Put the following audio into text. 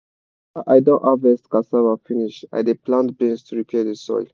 after i don harvest cassava finish i dey plant beans to repair the soil.